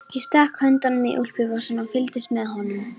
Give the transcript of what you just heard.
Ég stakk höndunum í úlpuvasana og fylgdist með honum.